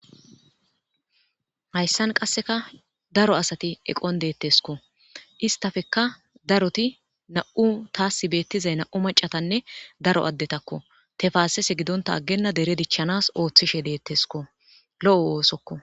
Haysan qaseka daro asati eqon detesko istapeka daroti nam'u tas betizay na'u mac'atanne daro adetako tefasese gidonta agena dere dichanas othishe detesko lo'o osokko.